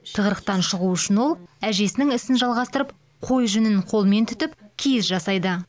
тығырықтан шығу үшін ол әжесінің ісін жалғастырып қой жүнін қолмен түтіп киіз жасайды